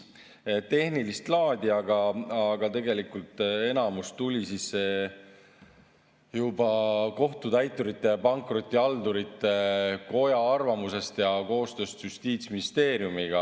Need olid tehnilist laadi, tegelikult enamus tulenes juba Kohtutäiturite ja Pankrotihaldurite Koja arvamusest ning koostööst Justiitsministeeriumiga.